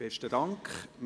Besten Dank.